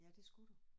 Ja det skulle du